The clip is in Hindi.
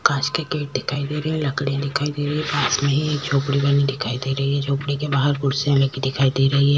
कांच के गेट दिखाई दे रहे लकड़ीया दिखाई दे रही है पास में ही एक झोपड़ी बनी दिखाई दे रही है झोपड़ी के बाहर कुर्सियां लगी दिखाई दे रही है।